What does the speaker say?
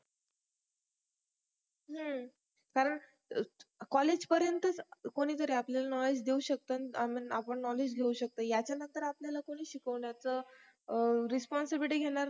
कारण college पर्यंतच कोणीतरी आपल्याला knowledge देऊ शकत आणि आपण knowledge घेऊन शकतो त्याच्या नंतर आपल्याला कोणी शिकवण्याचं responsibility घेणार नाही